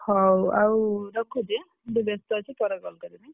ହଉ ଆଉ ରଖୁଛି ଆଁ ମୁଁ ଟିକେ ବ୍ୟସ୍ତ ଅଛି ପରେ call କରିବି।